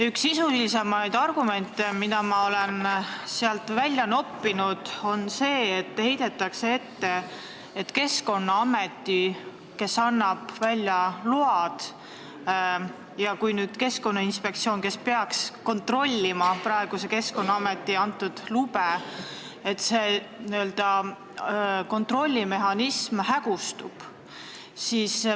Üks sisulisemaid argumente, mida ma olen nendest välja noppinud, on etteheide, et Keskkonnaamet annab välja load ja kui nüüd kaob Keskkonnainspektsioon, kes peaks kontrollima praeguse Keskkonnaameti antud lube, siis n-ö kontrollimehhanism hägustub.